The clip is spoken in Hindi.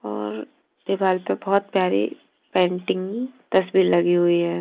और दीवाल पर बहुत प्यारी पेंटिंग तस्वीर लगी हुई है।